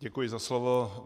Děkuji za slovo.